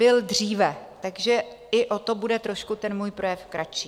Byl dříve, takže i o to bude trošku ten můj projev kratší.